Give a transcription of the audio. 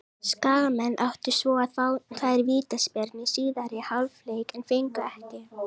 Skagamenn áttu svo að fá tvær vítaspyrnu í síðari hálfleik en fengu ekki.